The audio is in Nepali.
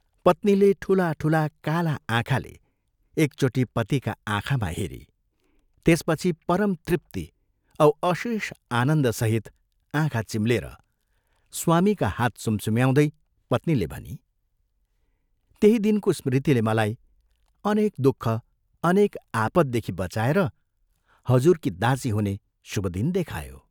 पत्नीले ठूला, ठूला काला आँखाले एकचोटि पतिका आँखामा हेरी त्यसपछि परम तृप्ति औ अशेष आनन्दसहित आँखा चिम्लेर स्वामीका हात सुमसुम्याउँदै पत्नीले भनी, "त्यही दिनको स्मृतिले मलाई अनेक दुःख, अनेक आपददेखि बचाएर हजुरकी दासी हुने शुभ दिन देखायो!